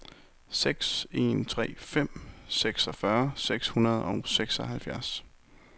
seks en tre fem seksogfyrre seks hundrede og seksoghalvfjerds